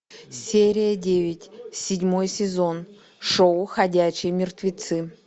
серия девять седьмой сезон шоу ходячие мертвецы